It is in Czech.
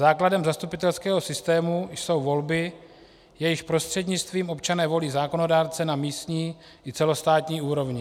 Základem zastupitelského systému jsou volby, jejichž prostřednictvím občané volí zákonodárce na místní i celostátní úrovni.